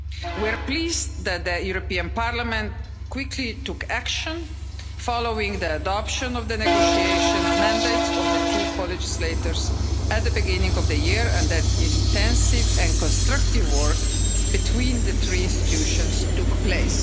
We are pleased that Parliament quickly took action following the adoption of the negotiation mandate of the two co legislators at the beginning of the year and that intensive and constructive work between the three institutions took place.